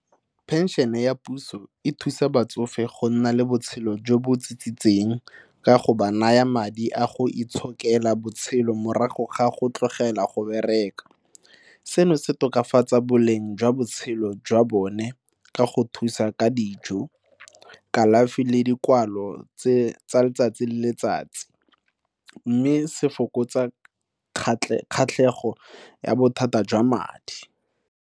Pension-e ya puso e thusa batsofe go nna le botshelo jo bo ka go ba naya madi a go itshokela botshelo morago ga go tlogela go bereka. Seno se tokafatsa boleng jwa botshelo jwa bone ka go thusa ka dijo, kalafi le dikwalo tsa letsatsi le letsatsi mme se fokotsa kgatlhego ya bothata jwa madi.